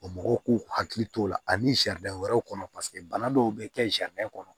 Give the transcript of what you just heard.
O mɔgɔw k'u hakili t'o la ani sariya wɛrɛw kɔnɔ paseke bana dɔw bɛ kɛ sariya kɔnɔ